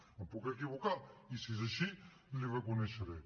em puc equivocar i si és així li ho reconeixeré